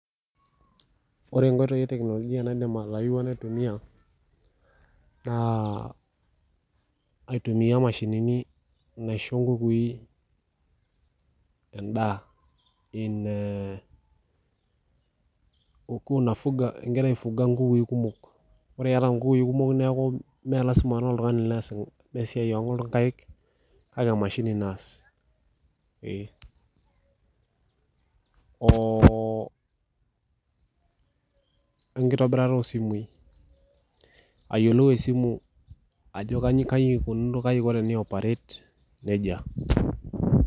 Ore nkoitoi eteknolojia naidim atayiewua naitumia naa aitumia imashinini naisho nkukui endaa in ee ukiwa na fuga , ingira aifuga nkukukui kumok neaku mmee lasima naa oltungani oas esiai onkaik kake emashini naas ee oo ayieolou esimu ajo kai ikununo kai iko teneoperate nejia.